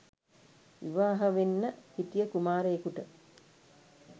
විවාහ වෙන්න හිටිය කුමාරයෙකුට